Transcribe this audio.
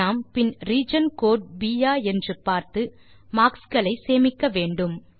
நாம் பின் region code ப் ஆ என்று பார்த்து மார்க்ஸ் களை சேமிக்க வேண்டும்